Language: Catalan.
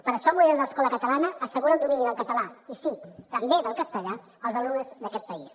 per això el model d’escola catalana assegura el domini del català i sí també del castellà als alumnes d’aquest país